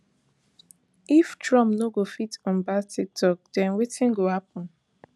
if trump no go fit unban tiktok den wetin go happun